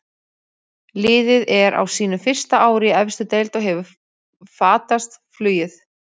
Liðið er á sínu fyrsta ári í efstu deild og hefur fatast flugið.